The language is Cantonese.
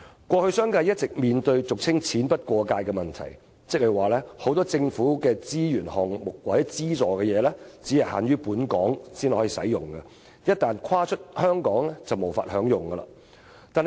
過去商界一直面對俗稱"錢不過界"的問題，即很多政府資助只限於在本港才能使用，一旦跨出香港就無法享用。